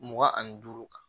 Mugan ani duuru kan